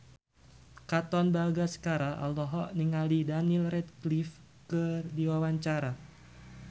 Katon Bagaskara olohok ningali Daniel Radcliffe keur diwawancara